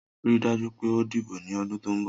Rii daju pe o dibo ni ọdun to nbo!